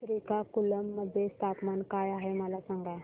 श्रीकाकुलम मध्ये तापमान काय आहे मला सांगा